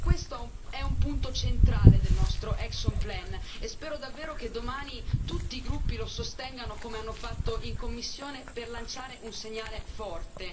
Per questo è un punto centrale del nostro piano d'azione e spero davvero che domani tutti i gruppi lo sostengano come hanno fatto in commissione per dare un segnale forte.